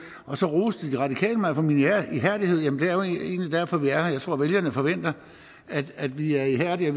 og så roste de radikale mig for min ihærdighed jamen det er jo egentlig derfor vi er her jeg tror vælgerne forventer at vi er ihærdige